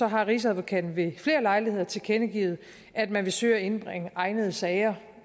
har rigsadvokaten ved flere lejligheder tilkendegivet at man vil søge at indbringe egnede sager